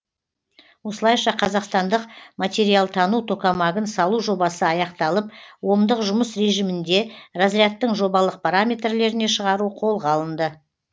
осылайша қазақстандық материалтану токамагын салу жобасы аяқталып омдық жұмыс режимінде разрядтың жобалық параметрлеріне шығару қолға алынды